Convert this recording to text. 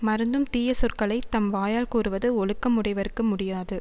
மறந்தும் தீய சொற்களை தம் வாயால் கூறுவது ஒழுக்கம் உடையவர்க்கு முடியாது